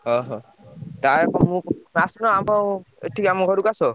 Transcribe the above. ଅହୋ! ଆସୁନ ଆମ ଏଠିକି ଆମ ଘରୁକୁ ଆସ।